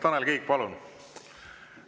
Tanel Kiik, palun!